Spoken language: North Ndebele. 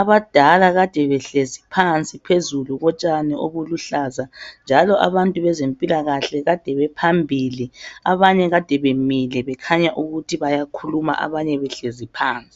abadala kade behlezi phansi phezulu kotshani obuluhlaza njalo abantu bezempilakahle kade baphambili abanye kade bemile bekhanya ukuthi bayakhuluma abanye behlezi phansi.